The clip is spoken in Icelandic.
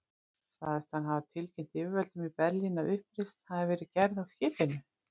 Sagðist hann hafa tilkynnt yfirvöldum í Berlín, að uppreisn hefði verið gerð á skipinu.